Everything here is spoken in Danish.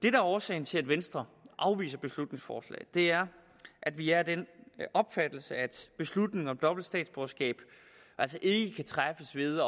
er årsagen til at venstre afviser beslutningsforslaget er at vi er af den opfattelse at beslutningen om dobbelt statsborgerskab altså ikke kan træffes ved